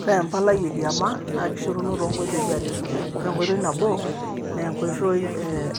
ore empalai e kiama naa kishoruno to nkoitoi are, ore enkoitoi nabo naa enkoitoi